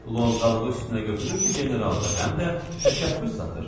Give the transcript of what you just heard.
Lovğalığı üstünə götürür ki, generaldır, həm də təşəxxüs satır.